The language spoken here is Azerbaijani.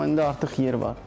Amma indi artıq yer var.